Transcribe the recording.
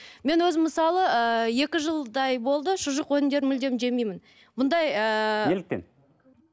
мен өзім мысалы ыыы екі жылдай болды шұжық өнімдерін мүлдем жемеймін мұндай ыыы неліктен